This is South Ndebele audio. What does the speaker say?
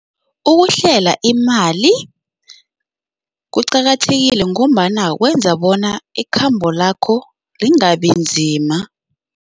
Ukuhlela imali kuqakathekile ngombana kwenza bona ikhambo lakho lingabinzima.